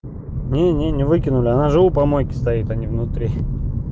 нет нет не выкинули она же у помойки стоит а не внутри